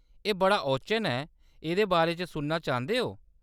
एह्‌‌ बड़ा ओचन ऐ, एह्‌‌‌दे बारे च सुनना चांह्‌‌‌दे ओ ?